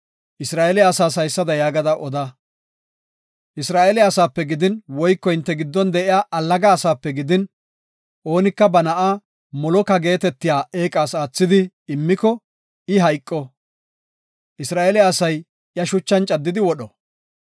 Isra7eele asaas haysada yaagada oda; “Isra7eele asaape gidin, woyko hinte giddon de7iya allaga asaape gidin, oonika ba na7a moloka geetetiya eeqas aathidi immiko, I hayqo; Isra7eele asay iya shuchan caddidi wodho.